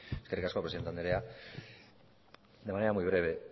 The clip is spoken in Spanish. eskerrik asko presidente andrea de manera muy breve